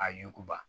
A ɲuguba